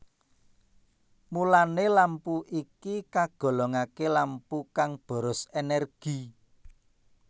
Mulané lampu iki kagolongaké lampu kang boros énérgi